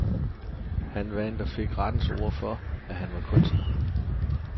Han vandt og fik rettens ord for, at han var kunstner.